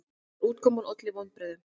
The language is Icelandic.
En útkoman olli vonbrigðum.